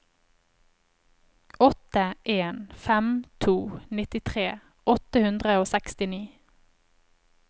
åtte en fem to nittitre åtte hundre og sekstini